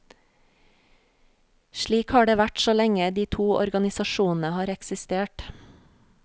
Slik har det vært så lenge de to organisasjonene har eksistert.